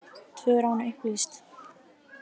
Tvö rán upplýst